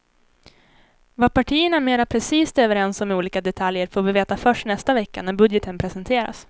Vad partierna mera precist är överens om i olika detaljer får vi veta först nästa vecka när budgeten presenteras.